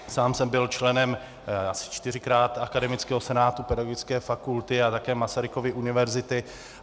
Sám jsem byl členem, asi čtyřikrát, Akademického senátu Pedagogické fakulty a také Masarykovy univerzity.